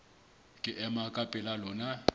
ke ema ka pela lona